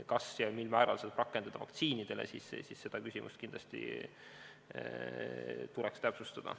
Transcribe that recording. Kas ja mil määral seda rakendada vaktsiinidele, seda küsimust tuleks kindlasti täpsustada.